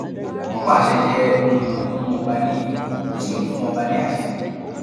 ọpá àṣẹ jẹ nǹkan tó ń mú ọba níyì tó sì ń fún ọba ní àṣẹ